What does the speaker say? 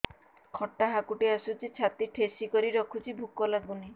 ଖଟା ହାକୁଟି ଆସୁଛି ଛାତି ଠେସିକରି ରଖୁଛି ଭୁକ ଲାଗୁନି